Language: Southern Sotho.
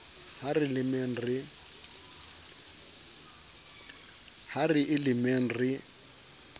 ha re e lemeng re